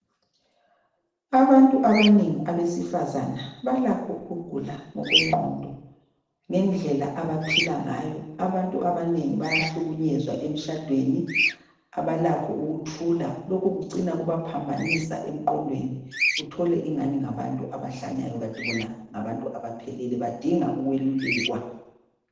Abantu abanengi abesifazana balakho ukugula ngokwengqondo ngendlela abaphila ngayo abantu abanengi bayahlukunyezwa emtshadweni abalakho ukuthula lokhu kucina kubaphambanisa emqondweni uthole engani ngabantu abahlanyayo kati bona ngabantu abaphelele badinga ukwelulekwa.